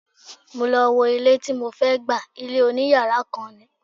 Mo lọ wo ilé tí mo fẹ́ gbà, ilé oní yàrá kan ni.